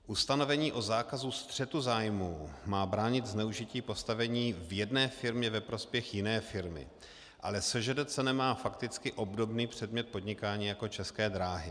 Ustanovení o zákazu střetu zájmů má bránit zneužití postavení v jedné firmě ve prospěch jiné firmy, ale SŽDC nemá fakticky obdobný předmět podnikání jako České dráhy.